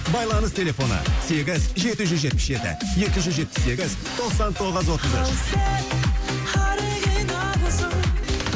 байланыс телефоны сегіз жеті жүз жетпіс жеті екі жүз жетпіс сегіз тоқсан тоғыз отыз үш ал сен оригиналсың